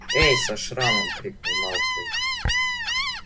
эй со шрамом крикнул малфой